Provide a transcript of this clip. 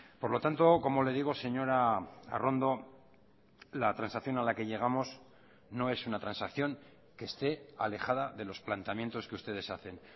por lo tanto como le digo señora arrondo la transacción a la que llegamos no es una transacción que esté alejada de los planteamientos que ustedes hacen